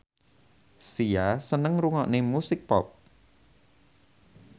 Sia seneng ngrungokne musik pop